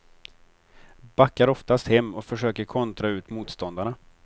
Backar oftast hem och försöker kontra ut motståndarna.